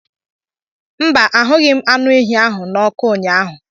mba, ahụghị m anụ ehi ahụ n'ọkụ ụnyaahụ